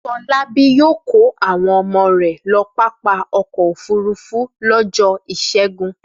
Fọlábí yóò kó àwọn ọmọ rẹ̀ lọ pápá ọkọ̀-òfurufú lọ́jọ́ ìṣẹ́gun!